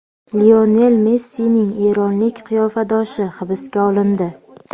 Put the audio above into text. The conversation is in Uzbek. Lionel Messining eronlik qiyofadoshi hibsga olindi.